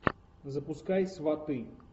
запускай сваты